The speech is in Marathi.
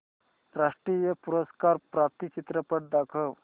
राष्ट्रीय पुरस्कार प्राप्त चित्रपट दाखव